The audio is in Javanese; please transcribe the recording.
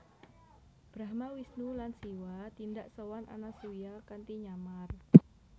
Brahma Wisnu lan Siwa tindak sowan Anasuya kanthi nyamar